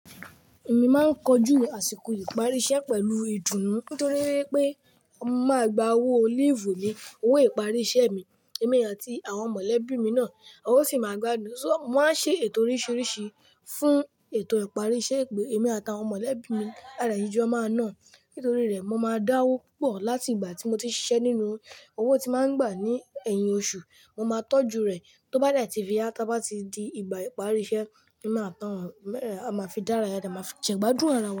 Èmi máa ń kọjú àsìkò ìparí iṣẹ́ pẹ̀lú ìdùnnú nítorí pé mo máa gba owó leave mi, owó ìparí iṣẹ́ mi, èmi àti àwọn mọ̀lẹ́bí mi náà. Owó sì máa gbádùn. So, màá ṣe ètò oríṣiríṣi fún ètò ìparí iṣẹ́ e pe èmi àti àwọn mọ̀lẹ́bí mi. A de le jọ máa náà nítorí rẹ̀ mo máa dáwó púpọ̀ láti ìgbà tí mo ti ṣiṣẹ́ nínú. Owó tí màá ń gbà ní ẹ̀yìn oṣù, mo máa tọ́jú rẹ̀ tó bá yá to bá ti di ìgbà ìparí iṣẹ́. Ẹ̀mi àti àwọn ọ̀rẹ́ rẹ̀ a máa fi dára yá, a máa fi jẹ́gbádùn ara wa.